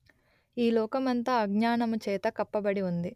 ఈ లోకమంతా అజ్ఞానము చేత కప్పబడి ఉంది